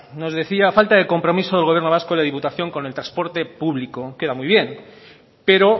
nos decía falta de compromiso del gobierno vasco y diputación con el transporte público queda muy bien pero